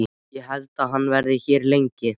Held ég að hann verði hér lengi?